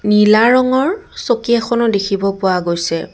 নীলা ৰঙৰ চকী এখনো দেখিব পোৱা গৈছে।